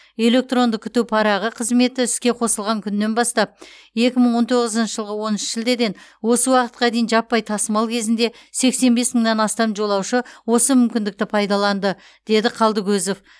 электронды күту парағы қызметі іске қосылған күннен бастап екі мың он тоғызыншы жылғы оныншы шілдеден осы уақытқа дейін жаппай тасымал кезінде сексен бес мыңнан астам жолаушы осы мүмкіндікті пайдаланды деді қалдыкозов